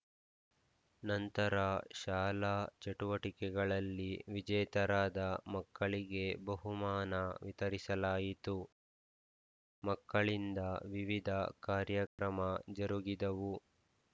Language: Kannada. ನಂತರ ಶಾಲಾ ಚಟುವಟಿಕೆಗಳಲ್ಲಿ ವಿಜೇತರಾದ ಮಕ್ಕಳಿಗೆ ಬಹುಮಾನ ವಿತರಿಸಲಾಯಿತು ಮಕ್ಕಳಿಂದ ವಿವಿಧ ಕಾರ್ಯಕ್ರಮ ಜರುಗಿದವು